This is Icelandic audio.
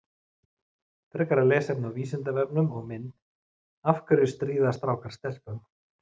Frekara lesefni á Vísindavefnum og mynd Af hverju stríða strákar stelpum?